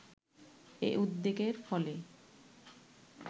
এ উদ্যোগের ফলে